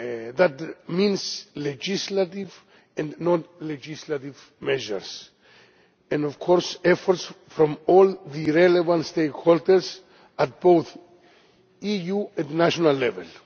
That means legislative and non legislative measures and, of course, efforts from all the relevant stakeholders at both EU and national level.